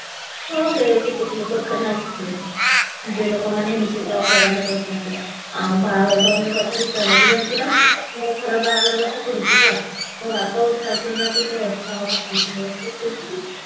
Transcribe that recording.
ହଁ ବେ କିନ୍ତୁ ନିଜ ଲୋକମାନେ ଏମତି ହଇରାଣ କରୁଛନ୍ତି ଆଉ ବାହାଘର ଫାହାଘର କଥା କିସ ହେଲା ତୁ ଜାଣିଛୁ ନା ମୋ ଘର ବାହାଘର କଥା ପଡିଛି ହେଲା ମୋ ବାପା ଗୋଟେ ରାଜି ହଉନାହାନ୍ତି ଗୋଟେ ଅଧିକା କଥା କହୁଛନ୍ତି ମୋତେ କହୁଛନ୍ତି